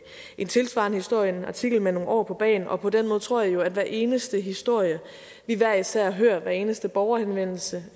en tilsvarende historie en artikel med nogle år på bagen og på den måde tror jeg jo at hver eneste historie vi hver især hører hver eneste borgerhenvendelse